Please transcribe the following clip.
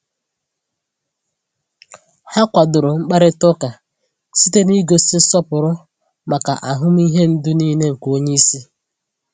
Ha kwadoro mkparịta ụka site n’ịgosi nsọpụrụ maka ahụmịhe ndụ niile nke onye isi.